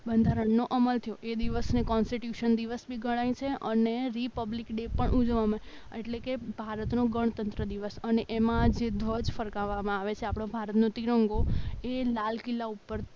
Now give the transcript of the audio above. બંધારણનો અમલ થયો એ દિવસને કોનસ્ટીટ્યુશન દિવસ બી ગણાય છે અને રિપબ્લિક ડે પણ ઉજવવામાં એટલે કે ભારતનો ગણતંત્ર દિવસ અને એમાં જે ધ્વજ ફરકાવવામાં આવે છે એટલે આપણા ભારતનો તિરંગો અહીં લાલ કિલ્લા ઉપર